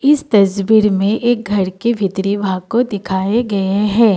इस तस्वीर में एक घर की भीतरी भाग को दिखाए गए हैं।